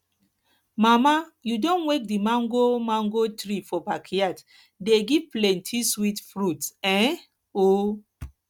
mama you don wake the mango mango tree for backyard dey give plenty sweet fruits um oh